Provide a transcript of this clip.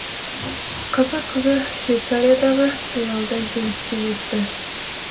қазақ қызы швецариядағы сайлауда жеңіске жетті